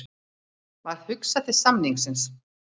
Varð hugsað til samningsins.